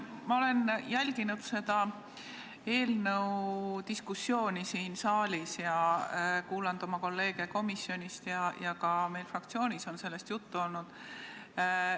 Ma olen jälginud seda eelnõu diskussiooni siin saalis ja kuulanud oma kolleege komisjonis ja meil fraktsioonis on ka sellest juttu olnud.